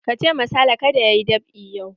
Ka ce ma Sale ka da ya yi dab'i yau!